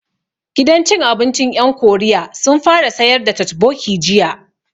Gidan cin abincin ƴan Koriya sun fara sayar da totbokki jiya